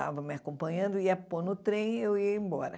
Estava me acompanhando, ia pôr no trem e eu ia embora.